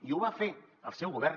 i ho va fer el seu govern